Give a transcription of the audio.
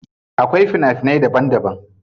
Akwai fina finai daban daban.